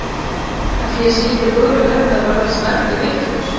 Ætli ég sé ekki á góðri leið með að verða snælduvitlaus!